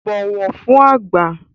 Bọ̀wọ̀ fún àgbà!